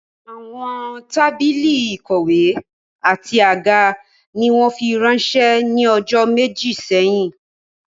Àwọn tábìlì ìkọ̀wé àti àga ni wọ́n fi ránsẹ́ ní ọjọ́ méjì sẹ́yìn